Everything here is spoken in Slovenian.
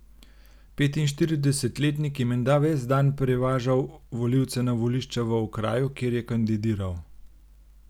Petinštiridesetletnik je menda ves dan prevažal volivce na volišča v okraju, kjer je kandidiral.